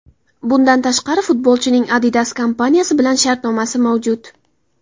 Bundan tashqari futbolchining Adidas kompaniyasi bilan shartnomasi mavjud.